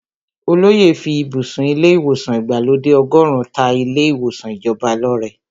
Olóyè fí ibùsùn ilé ìwòsàn ìgbàlódé ọgọ́run ta ilé ìwòsàn ìjọba lọ́rẹ.